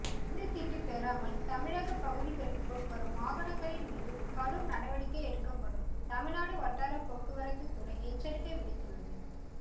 அனுமதி சீட்டு பெறாமல் தமிழகப்பகுதிகளுக்குள் வரும் வாகனங்களின் மீது கடும் நடவடிக்கை எடுக்குப்படும் தமிழ்நாடு வட்டாரபோக்குவரத்து துறை எச்சரிக்கை விடுத்துள்ளது